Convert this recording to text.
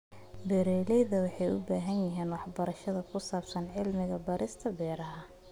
Beeraleydu waxay u baahan yihiin waxbarasho ku saabsan cilmi-baarista beeraha.